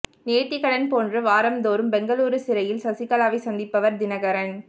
நேர்த்திக்கடன் போன்று வாரம்தோறும் பெங்களூரு சிறையில் சசிகலாவைச் சந்திப்பவர் தினகரன்